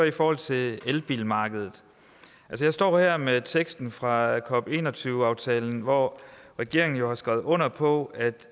i forhold til elbilmarkedet jeg står her med teksten fra cop21 aftalen hvor regeringen jo har skrevet under på